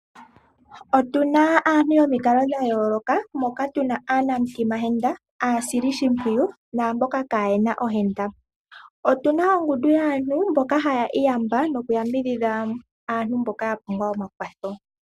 Otuna aantu yomikalo dha yooloka, moka tuna aanamutima henda, aasili shimpwiyu, naamboka kaayena ohenda. Otuna ongudu yaantu mboka haya iyamba noku yambidhidha aantu mboka ya pumbwa oma kwatho.